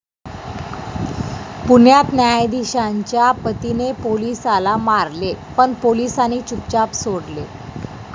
पुण्यात 'न्यायधीशा'च्या पतीने पोलिसाला मारले पण पोलिसांनी चुपचाप सोडले